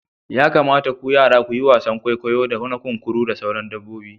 Ya kamata ku yara ku yi wasan kwaikwayo na kunkuru da sauran dabbobi.